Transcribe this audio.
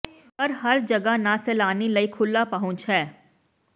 ਪਰ ਹਰ ਜਗ੍ਹਾ ਨਾ ਸੈਲਾਨੀ ਲਈ ਖੁੱਲ੍ਹਾ ਪਹੁੰਚ ਹੈ